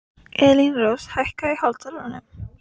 Elínrós, hækkaðu í hátalaranum.